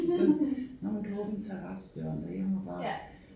Sådan når man kan åbne terrassedøren derhjemme og bare